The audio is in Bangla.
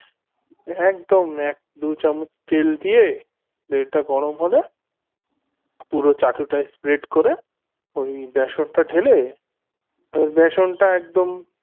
একদম দু চামচ তেল দিয়ে তেল টা গরম হলে পুরো চাটুটা spread করে ওই বেসন টা ঢেলে বেসন টা একদম